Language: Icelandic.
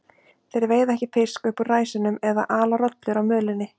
Þeir veiða ekki fisk upp úr ræsunum eða ala rollur á mölinni.